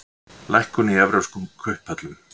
Lækkun í evrópskum kauphöllum